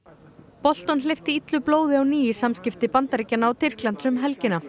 Bolton hleypti illu blóði á ný í samskipti Bandaríkjanna og Tyrklands um helgina